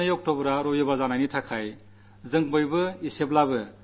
ഇപ്രാവശ്യം ഒക്ടോബർ രണ്ട് ഞായറാഴ്ചയാണ്